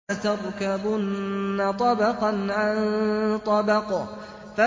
لَتَرْكَبُنَّ طَبَقًا عَن طَبَقٍ